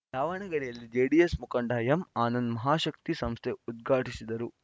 ದಾವಣಗೆರೆಯಲ್ಲಿ ಜೆಡಿಎಸ್‌ ಮುಖಂಡ ಎಂಆನಂದ್‌ ಮಹಾಶಕ್ತಿ ಸಂಸ್ಥೆ ಉದ್ಘಾಟಿಸಿದರು